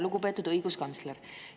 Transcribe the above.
Lugupeetud õiguskantsler!